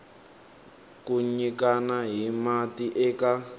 ku nyikana hi mati eka